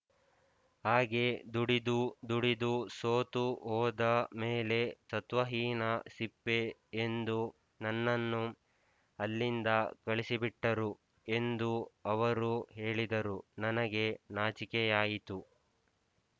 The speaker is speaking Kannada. ಹಾಗೆ ದುಡಿದು ದುಡಿದು ಸೋತು ಹೋದ ಮೇಲೆ ಸತ್ವಹೀನ ಸಿಪ್ಪೆ ಎಂದು ನನ್ನನ್ನು ಅಲ್ಲಿಂದ ಕಳಿಸಿಬಿಟ್ಟರು ಎಂದು ಅವರು ಹೇಳಿದರು ನನಗೆ ನಾಚಿಕೆಯಾಯಿತು